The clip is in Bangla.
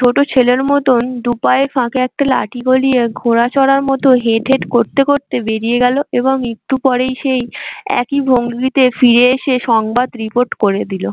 ছোট ছেলের মতন দুপায়ের ফাঁকে একটা লাঠি গলিয়ে ঘোড়া চড়ার মতো হেট্ হেট্ করতে করতে বেরিয়ে গেল এবং একটু পরে সেই একই ভঙ্গিতে ফিরে এসে সংবাদ report করে দিলো।